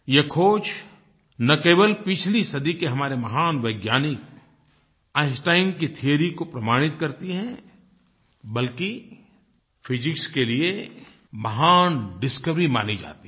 ये खोज न केवल पिछली सदी के हमारे महान वैज्ञानिक आइन्स्टाइन की थियोरी को प्रमाणित करती है बल्कि फिजिक्स के लिए महान डिस्कवरी मानी जाती है